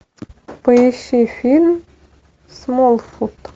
поищи фильм смолфут